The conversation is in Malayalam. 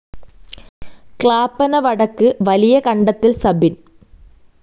ക്ലാപ്പന വടക്ക് വലിയകണ്ടത്തിൽ സബിൻ